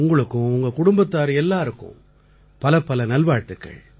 உங்களுக்கும் உங்க குடும்பத்தார் எல்லாருக்கும் பலப்பல நல்வாழ்த்துக்கள்